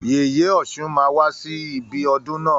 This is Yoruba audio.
Yèyè ọ̀ṣun máa wá sí ibi ọdún na.